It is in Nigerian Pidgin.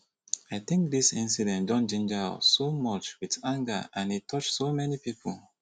i think dis incident don ginger us so much wit anger and e touch so many pipo